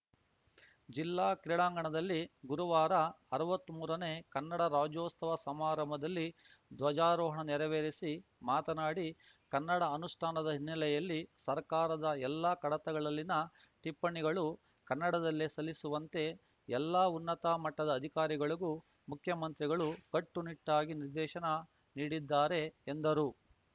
ಜಿಲ್ಲಾ ಕ್ರೀಡಾಂಗಣದಲ್ಲಿ ಗುರುವಾರ ಅರವತ್ಮೂರನೇ ಕನ್ನಡ ರಾಜ್ಯೋಸ್ತವ ಸಮಾರಂಭದಲ್ಲಿ ಧ್ವಜಾರೋಹಣ ನೆರವೇರಿಸಿ ಮಾತನಾಡಿ ಕನ್ನಡ ಅನುಷ್ಠಾನದ ಹಿನ್ನೆಲೆಯಲ್ಲಿ ಸರ್ಕಾರದ ಎಲ್ಲಾ ಕಡತಗಳಲ್ಲಿನ ಟಿಪ್ಪಣಿಗಳೂ ಕನ್ನಡದಲ್ಲೇ ಸಲ್ಲಿಸುವಂತೆ ಎಲ್ಲಾ ಉನ್ನತ ಮಟ್ಟದ ಅಧಿಕಾರಿಗಳಿಗೂ ಮುಖ್ಯಮಂತ್ರಿಗಳು ಕಟ್ಟುನಿಟ್ಟಾಗಿ ನಿರ್ದೇಶನ ನೀಡಿದ್ದಾರೆ ಎಂದರು